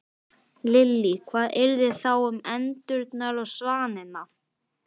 Lillý: Hvað yrði þá um endurnar og svanina?